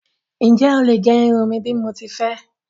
Ǹjẹ́ ó lè gé irun mí bí mo ti fé?